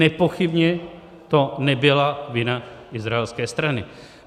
Nepochybně to nebyla vina izraelské strany.